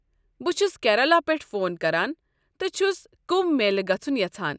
بہٕ چھس کیرالہ پٮ۪ٹھ فون کران تہٕ چھُس کُمبھ میلہ گژھُن یژھان۔